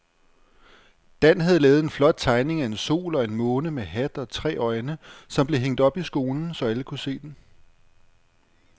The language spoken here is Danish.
Dan havde lavet en flot tegning af en sol og en måne med hat og tre øjne, som blev hængt op i skolen, så alle kunne se den.